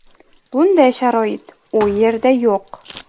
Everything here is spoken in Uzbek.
Bunday sharoit u yerda yo‘q.